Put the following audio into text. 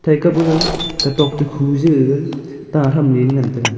thai kap gag kau tok to khu ja gag tah thamley ley ngantaga.